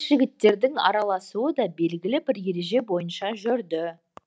жігіттердің араласуы да белгілі бір ереже бойынша жүрді